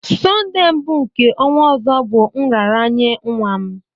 Sonde mbụ nke ọnwa ọzọ bụ nraranye nwa m